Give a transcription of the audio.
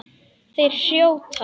Þeir hrjóta.